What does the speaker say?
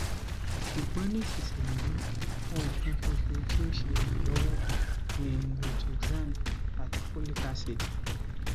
ṣugbọn nisisiyi ohun kan ṣoṣo ti o ṣe iranlọwọ ni rituxan ati folic acid